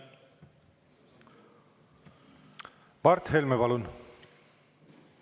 Mart Helme, palun!